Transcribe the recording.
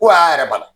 Ko a y'a yɛrɛ bali